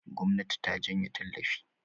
gwamnati ta janye tallafi